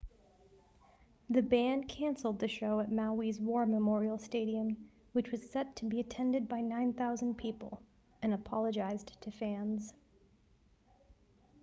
the band canceled the show at maui's war memorial stadium which was set to be attended by 9,000 people and apologized to fans